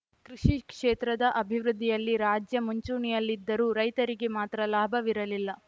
ಕೃಷಿ ಕ್ಷೇತ್ರದ ಅಭಿವೃದ್ಧಿಯಲ್ಲಿ ರಾಜ್ಯ ಮುಂಚೂಣಿಯಲ್ಲಿದ್ದರೂ ರೈತರಿಗೆ ಮಾತ್ರ ಲಾಭವಿರಲಿಲ್ಲ